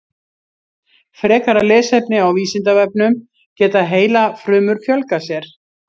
Frekara lesefni á Vísindavefnum Geta heilafrumur fjölgað sér?